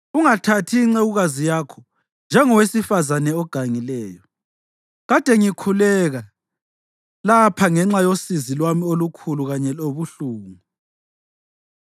Ungathathi incekukazi yakho njengowesifazane ogangileyo; kade ngikhuleka lapha ngenxa yosizi lwami olukhulu kanye lobuhlungu.”